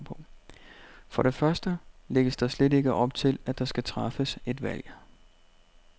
For det første lægges der slet ikke op til, at der skal træffes et valg.